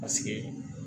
Paseke